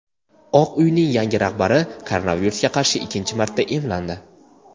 Oq uyning yangi rahbari koronavirusga qarshi ikkinchi marta emlandi.